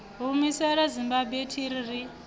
humisela zimbabwe athi ri ri